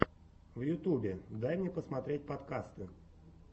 в ютубе дай мне посмотреть подкасты